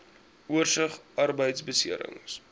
oorsig arbeidbeserings